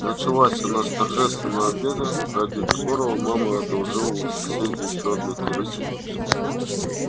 началась она с торжественного обеда ради которого мама одолжила у соседей ещё одну керосинку